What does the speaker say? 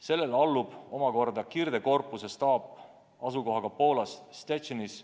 Sellele allub omakorda kirdekorpuse staap asukohaga Poolas Szczecinis.